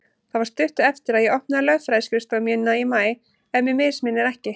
Það var stuttu eftir að ég opnaði lögfræðiskrifstofu mína í maí, ef mig misminnir ekki.